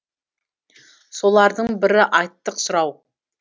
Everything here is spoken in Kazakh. солардың бірі айттық сұрау